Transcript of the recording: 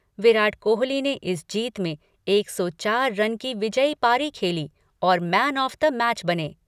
विराट कोहली ने इस जीत में एक सौ चार रन की विजयी पारी खेली और मैन ऑफ द मैच बने।